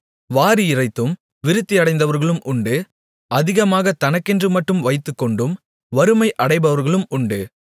வாரி இறைத்தும் விருத்தியடைந்தவர்களும் உண்டு அதிகமாக தனக்கென்று மட்டும் வைத்துக்கொண்டும் வறுமையடைபவர்களும் உண்டு